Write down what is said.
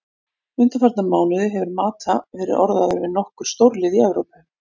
Undanfarna mánuði hefur Mata verið orðaður við nokkur stórlið í Evrópu.